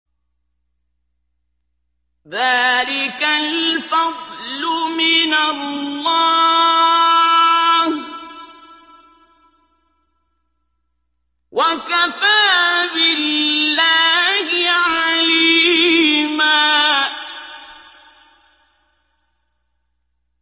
ذَٰلِكَ الْفَضْلُ مِنَ اللَّهِ ۚ وَكَفَىٰ بِاللَّهِ عَلِيمًا